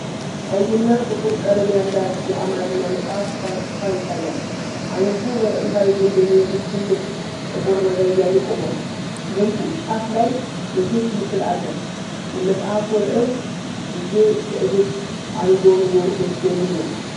ቀይና ጥቁር ቀለም ያላት የአማርኛ መጽሐፍ ሽፋን ይታያል። አንድ ሰው ወደ ጥንታዊ ግንብ የሚመስል ትልቅ ጥቁር ነገር እያየ ቆሟል። ከግንቡ ጫፍ ላይ የሴት ምስል አለ፡፡ የመጽሐፉ ርዕስ "ጊዜ ትዕግስት አንጎንጎ ልብ" የሚል ነው?